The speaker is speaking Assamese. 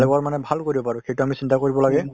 বেলেগৰ মানে ভাল কৰিব পাৰোঁ সেইটো আমি চিন্তা কৰিব লাগে ।